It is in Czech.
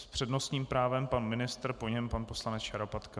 S přednostním právem pan ministr, po něm pan poslanec Šarapatka.